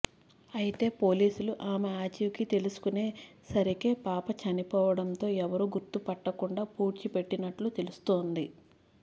అయితే పోలీసులు ఆమె ఆచూకీ తెలుసుకునే సరికే పాప చనిపోవడంతో ఎవరూ గుర్తుపట్టకుండా పూడ్చి పెట్టినట్లు తెలుస్తోంది